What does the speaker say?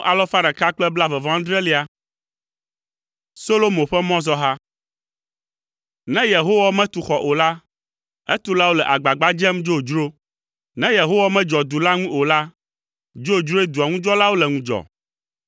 Solomo ƒe mɔzɔha. Ne Yehowa metu xɔ o la, etulawo le agbagba dzem dzodzro. Ne Yehowa medzɔ du la ŋu o la, dzodzroe dua ŋu dzɔlawo le ŋudzɔ.